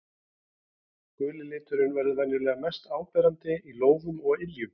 Guli liturinn verður venjulega mest áberandi í lófum og á iljum.